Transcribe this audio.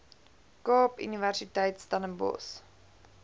kaap universiteit stellenbosch